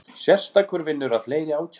Sérstakur vinnur að fleiri ákærum